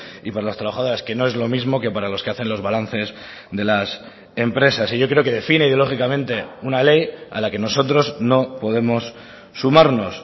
y para las trabajadoras que no es lo mismo que para los que hacen los balances de las empresas y yo creo que define ideológicamente una ley a la que nosotros no podemos sumarnos